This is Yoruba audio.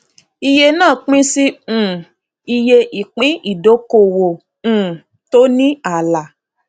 iye náà pín sí um iye ìpín ìdókòwò um tó ní ààlà